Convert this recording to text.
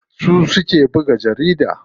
Su suke buga jarida.